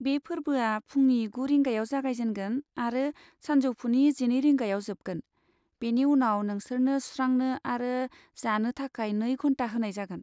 बे फोर्बोआ फुंनि गु रिंगायाव जागायजेनगोन आरो सानजौफुनि जिनै रिंगायाव जोबगोन, बेनि उनाव नोंसोरनो सुस्रांनो आरो जानो थाखाय नै घन्टा होनाय जागोन।